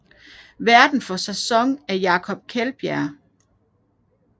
Værten for sæson er Jakob Kjeldbjerg